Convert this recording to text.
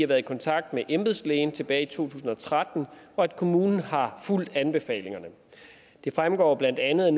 været i kontakt med embedslægen tilbage i to tusind og tretten og at kommunen har fulgt anbefalingerne det fremgår blandt andet